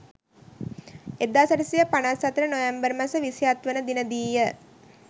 1854 November මස 27වන දිනදීය.